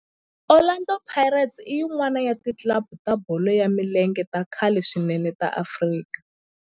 Orlando Pirates i yin'wana ya ti club ta bolo ya milenge ta khale swinene ta Afrika